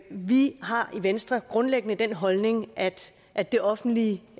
vi har i venstre grundlæggende den holdning at at det offentlige